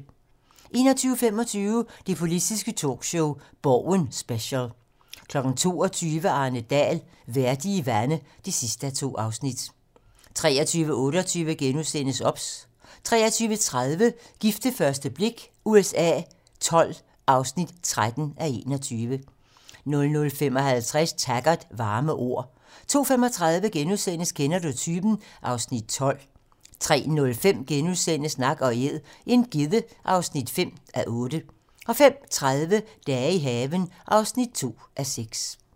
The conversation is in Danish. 21:25: Det politiske talkshow - Borgen special 22:00: Arne Dahl: Vældige vande (2:2) 23:28: OBS * 23:30: Gift ved første blik USA XII (13:21) 00:55: Taggart: Varme ord 02:35: Kender du typen? (Afs. 12)* 03:05: Nak & Æd - en gedde (5:8)* 05:30: Dage i haven (2:6)